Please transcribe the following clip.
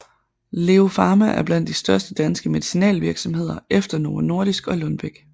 LEO Pharma er blandt de største danske medicinalvirksomheder efter Novo Nordisk og Lundbeck